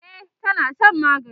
e tana Shan magani